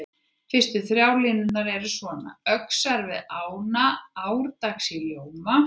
Fyrstu þrjár línurnar eru svona: Öxar við ána árdags í ljóma